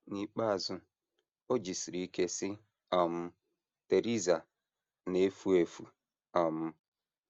N’ikpeazụ, o jisiri ike sị: “ um Theresa na - efu efu! ” um